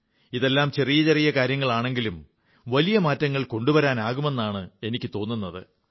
ഇതെല്ലാം ചെറിയ ചെറിയ കാര്യങ്ങളാണെങ്കിലും വലിയ മാറ്റങ്ങൾ കൊണ്ടുവരാനാകുന്നതാണെന്ന് എനിക്കു തോന്നുന്നു